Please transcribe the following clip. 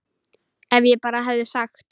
Ef ég bara hefði sagt.